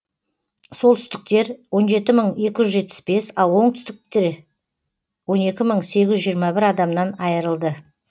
солтүстіктер он жеті мың екі жүз жетпіс бес ал оңтүстікте он екі мың сегіз жүз жиырма бір адамнан айырылды